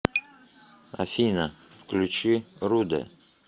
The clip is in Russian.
афина включи рудэ